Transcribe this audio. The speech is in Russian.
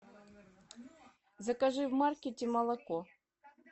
закажи в маркете молоко